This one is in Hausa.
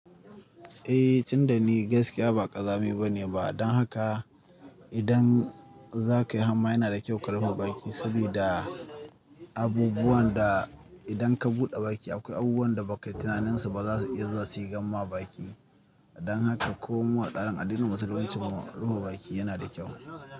Eh, tun da ni gaskiya ba ƙazami bane ba. Don haka idan za ka yi hamma yana da kyau ka rufe baki saboda abubuwan da idan ka buɗe baki akwai abubuwan da ba kayi tunanin su ba za su iya zuwa shigan ma baki. Don haka komawa tsarin addinin musulunci kuma rufe baki yana da kyau.